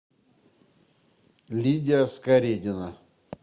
лидия скаредина